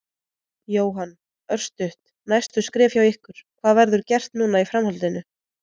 Jóhann: Örstutt, næstu skref hjá ykkur, hvað verður gert núna í framhaldinu?